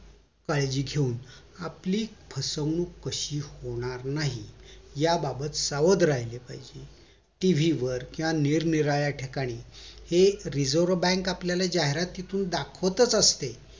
काळजी घेऊन आपली फसवणूक कशी होणार नाही याबाबत सावध राहील पाहिजेत टीव्ही वर किंवा निरनिराळ्या ठिकाणी हे एक reserve bank आपल्याला जाहिरातीतून दाखवतच असते